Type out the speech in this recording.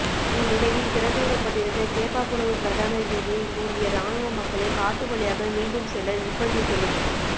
இந்நிலையில் திறந்து விடப்பட்டிருந்த கேப்பாபுலவு பிரதான வீதியை மூடிய இராணுவம் மக்களை காட்டு வழியாக மீண்டும் செல்ல நிற்ப்பந்தித்துள்ளது